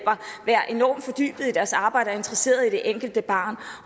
deres arbejde og interesseret i det enkelte barn